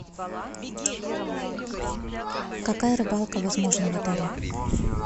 какая рыбалка возможна в отеле